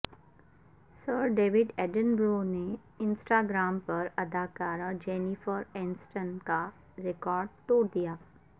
سر David Attenborough نے Instagram پر اداکارہ جینیفر اینسٹن کا ریکارڈ توڑ دیا